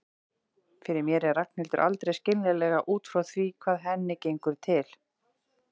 Fyrir mér er Ragnhildur aldrei skiljanleg út frá því hvað henni gengur til.